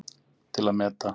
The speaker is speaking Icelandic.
Til að meta